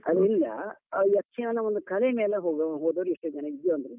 ಅದ್ರಿಂದ ಆ ಯಕ್ಷಗಾನ ಒಂದು ಕಲೆ ಮೇಲೆ ಹೋಗೋ ಹೋದೋರು ಎಷ್ಟೋ ವಿದ್ಯಾವಂತರು.